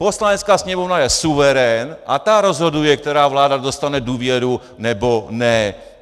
Poslanecká sněmovna je suverén a ta rozhoduje, která vláda dostane důvěru, nebo ne!